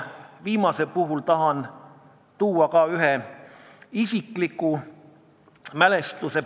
Viimase puhul tahan rääkida ühest isiklikust mälestusest.